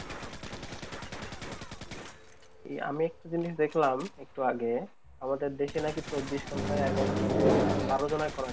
এই আমি একটি জিনিস দেখলাম একটু আগে আমাকে আমাদের দেশে নাকি চব্বিশ ঘন্টায় এগারোজনের বারোজনের করোনা